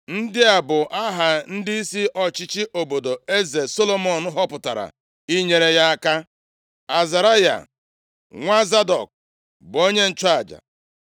Ndị a bụ aha ndịisi ọchịchị obodo eze Solomọn họpụtara inyere ya aka. Azaraya, + 4:2 Zadọk mụrụ Ahimaaz, Ahimaaz a mụọ Azaraya. Ya mere, Zadọk ji bụrụ nna nna Azaraya. Azaraya bụ onyeisi nchụaja nʼIzrel nʼafọ niile Solomọn chịrị, nʼihi na mgbe ahụ Ahimaaz anwụọla. \+xt 2Sa 15:27,36; 1Ih 6:8-9\+xt* nwa Zadọk bụ onye nchụaja.